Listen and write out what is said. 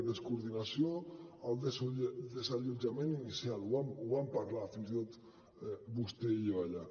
descoordinació en el desallotjament inicial ho vam parlar fins i tot vostè i jo allà